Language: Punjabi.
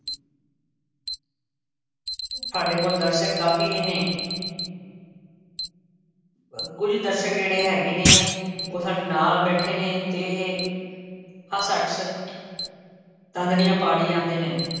ਸਾਡੇ ਕੋਲ ਦਰਸ਼ਕ ਕਾਫੀ ਨੇ ਕੁੱਝ ਦਰਸ਼ਕ ਜਿਹੜੇ ਹੈਗੇ ਨੇ ਉਹ ਸਾਡੇ ਨਾਲ ਬੈਠੇ ਨੇ ਅਤੇ ਦੰਦੜੀਆਂ ਪਾੜੀ ਜਾਂਦੇ ਨੇ,